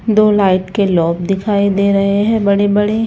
दो लाइट के लौब दिखाई दे रहे है बड़े बड़े--